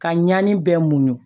Ka ɲani bɛɛ muɲun